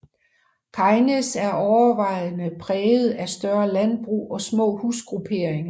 Kegnæs er overvejende præget af større landbrug og små husgrupperinger